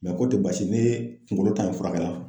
k'o tɛ basi ye ne kunkolo ta in fura kɛ la.